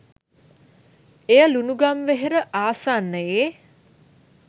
එය ලුණුගම්වෙහෙර ආසන්නයේ